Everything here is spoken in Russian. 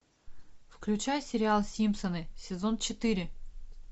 включай сериал симпсоны сезон четыре